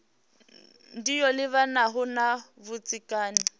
ndi yo livhanaho na vhudzekani